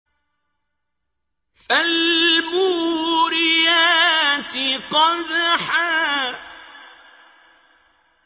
فَالْمُورِيَاتِ قَدْحًا